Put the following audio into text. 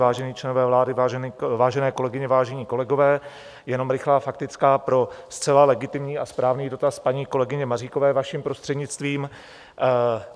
Vážení členové vlády, vážené kolegyně, vážení kolegové, jenom rychlá faktická pro zcela legitimní a správný dotaz paní kolegyně Maříkové, vaším prostřednictvím.